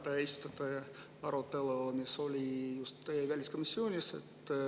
Täna te esitlete arutelu, mis oli just väliskomisjonis.